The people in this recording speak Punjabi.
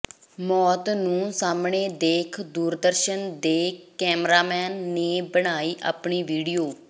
ਮੌਤ ਨੂੰ ਸਾਹਮਣੇ ਦੇਖ ਦੂਰਦਰਸ਼ਨ ਦੇ ਕੈਮਰਾਮੈਨ ਨੇ ਬਣਾਈ ਆਪਣੀ ਵੀਡੀਓ